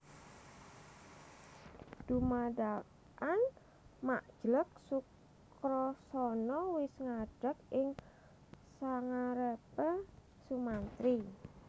Dumadakan mak jleg Sukrasana wis ngadeg ing sangarepe Sumantri